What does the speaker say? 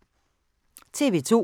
TV 2